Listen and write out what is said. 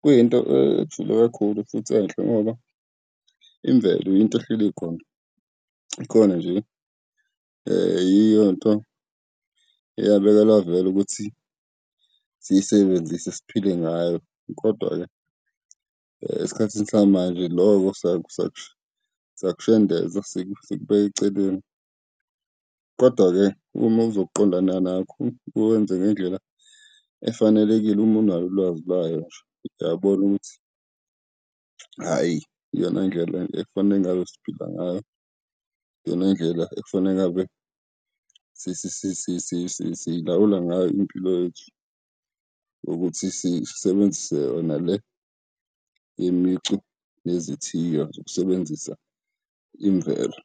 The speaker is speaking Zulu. kuyinto ejule kakhulu futhi enhle ngoba imvelo yinto ehleli ikhona. Ikhona nje, yiyonto eyabekelwa vele ukuthi siyisebenzise siphile ngayo. Kodwa-ke, esikhathini samanje loko siyakushendeza sikubeka eceleni. Kodwa-ke uma uzoqondana nakho, uwenze ngendlela efanelekile uma unalo ulwazi lwayo nje, uyabona ukuthi, hhayi, iyona ndlela ekufanele ngabe siphila ngayo, iyona ndlela ekufanele ngabe siyilawula ngayo impilo yethu ukuthi sisebenzise yona le imicu yezithiyo zokusebenzisa imvelo.